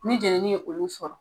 Ni jeneni ye olu sɔrɔ